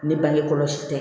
Ne bangekɔlɔsi tɛ